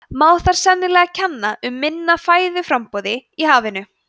má þar sennilega kenna um minna fæðuframboði í hafinu